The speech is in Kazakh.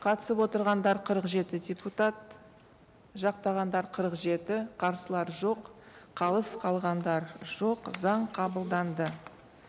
қатысып отырғандар қырық жеті депутат жақтағандар қырық жеті қарсылар жоқ қалыс қалғандар жоқ заң қабылданды